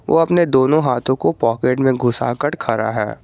वो अपने दोनों हाथों को पॉकेट में घुसा कर खड़ा है।